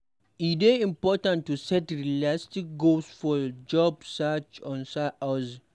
E dey important to set realistic goals for your job search or side-hustle.